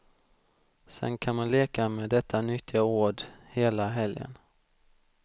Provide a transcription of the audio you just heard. Sen kan man leka med detta nyttiga ord hela helgen.